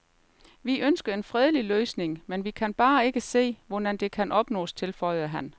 Vi ønsker en fredelig løsning, men vi kan bare ikke se, hvordan det kan opnås, tilføjede han.